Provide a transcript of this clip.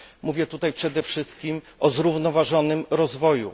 Mówię tutaj przede wszystkim o zrównoważonym rozwoju.